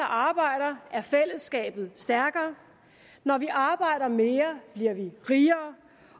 arbejder er fællesskabet stærkere når vi arbejder mere bliver vi rigere